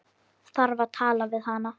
Þarf að tala við hana.